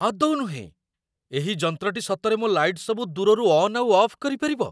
ଆଦୌ ନୁହେଁ! ଏହି ଯନ୍ତ୍ରଟି ସତରେ ମୋ ଲାଇଟ୍‌ ସବୁ ଦୂରରୁ ଅନ୍ ଆଉ ଅଫ୍ କରିପାରିବ?